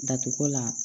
Datugula